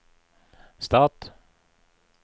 stat